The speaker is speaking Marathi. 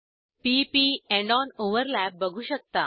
p P end on overlap बघू शकता